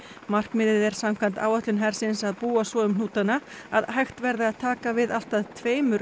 markmiðið er samkvæmt áætlun hersins um að búa svo um hnútana að hægt verði að taka við allt að tveimur